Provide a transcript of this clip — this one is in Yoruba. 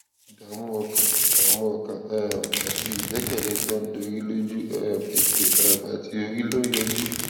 ìdààmú ọkàn ìdààmú ọkàn um àti ìgbékèlé tó ń dorí lójú um ètè um àti orí ló ń yọjú